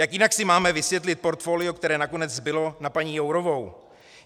Jak jinak si máme vysvětlit portfolio, které nakonec zbylo na paní Jourovou?